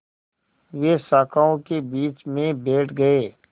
वे शाखाओं के बीच में बैठ गए